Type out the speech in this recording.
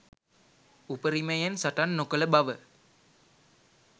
උපරිමයෙන් සටන් නොකල බව